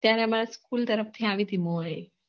ત્યાર અમાર school તરફ થી આવી હતી